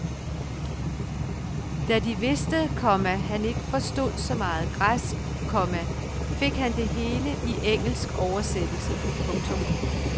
Da de vidste, komma han ikke forstod så meget græsk, komma fik han det hele i engelsk oversættelse. punktum